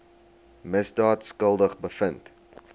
misdaad skuldig bevind